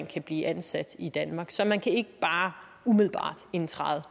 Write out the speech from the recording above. kan blive ansat i danmark så man kan ikke bare umiddelbart indtræde